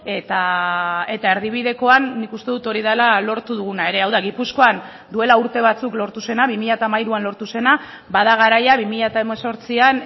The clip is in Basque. eta erdibidekoan nik uste dut hori dela lortu duguna ere hau da gipuzkoan duela urte batzuk lortu zena bi mila hamairuan lortu zena bada garaia bi mila hemezortzian